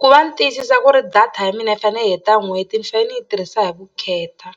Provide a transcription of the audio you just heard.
Ku va ni tiyisisa ku ri data ya mina yi fanele yi heta n'hweti ni fanele ni yi tirhisa hi vukheta